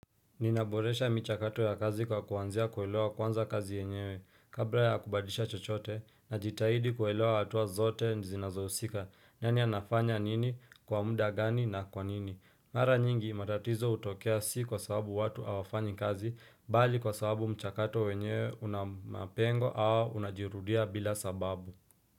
Ninaboresha michakato ya kazi kwa kuanzia kuelewa kwanza kazi yenyewe. Kabla ya kubadilisha chochote najitahidi kuelewa hatua zote zinazohusika, yani anafanya nini, kwa muda gani na kwa nini. Mara nyingi matatizo hutokea si kwa sababu watu hawafanyi kazi bali kwa sababu mchakato wenyewe una mapengo au unajirudia bila sababu.